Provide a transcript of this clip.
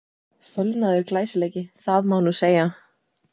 Fölnaður glæsileiki, það má nú segja!